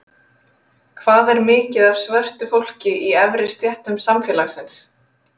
Hvað er mikið af svörtu fólki í efri stéttum samfélagsins?